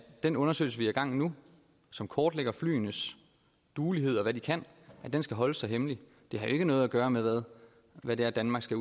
den undersøgelse vi har i gang nu som kortlægger flyenes duelighed og hvad de kan skal holdes så hemmelig det har jo ikke noget at gøre med hvad det er danmark skal